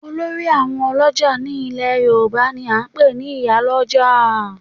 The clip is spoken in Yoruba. Olórí àwọn ọlọ́jà ní ilẹ̀ yorùbá ni a ń pè ní ìyálójà